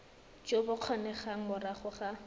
jo bo kgonegang morago ga